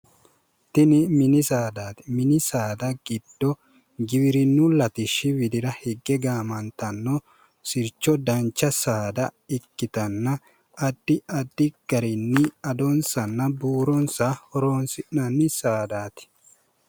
Tini mini saadaati mini saada giddo giwirinnu latishshi widira higge gaamantanno sircho dancha saada ikkitanna addi addi garinni adonsanna buuronsa horoonsi'nanni saadaati